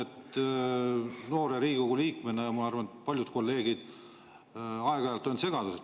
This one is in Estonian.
Noore Riigikogu liikmena ja arvan, et ka paljud kolleegid on aeg-ajalt segaduses.